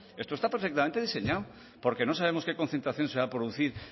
esto está perfectamente diseñado porque no sabemos qué concentración se va a producir